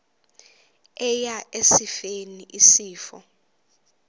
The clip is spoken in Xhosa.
eya esifeni isifo